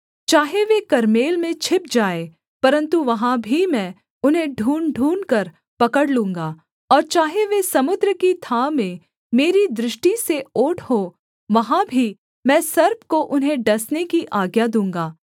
चाहे वे कर्मेल में छिप जाएँ परन्तु वहाँ भी मैं उन्हें ढूँढ़ ढूँढ़कर पकड़ लूँगा और चाहे वे समुद्र की थाह में मेरी दृष्टि से ओट हों वहाँ भी मैं सर्प को उन्हें डसने की आज्ञा दूँगा